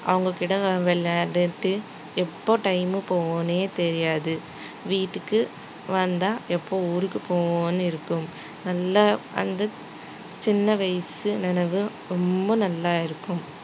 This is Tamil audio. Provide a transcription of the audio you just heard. அவங்ககிட்ட விளையாடிட்டு எப்போ time போகும்ன்னே தெரியாது வீட்டுக்கு வந்தா எப்ப ஊருக்கு போவோம்னு இருக்கும் நல்லா அந்த சின்ன வயசு நினைவு ரொம்ப நல்லா இருக்கும்